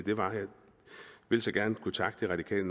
det var jeg vil så gerne kunne takke det radikale